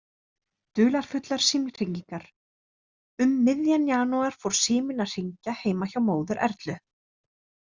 Dularfullar símhringingar Um miðjan janúar fór síminn að hringja heima hjá móður Erlu.